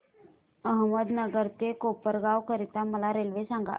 अहमदनगर ते कोपरगाव करीता मला रेल्वे सांगा